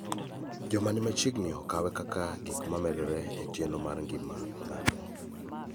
Joma ni machiegni okawe kaka gik ma medore e chenro mar ngima mar ng�ato.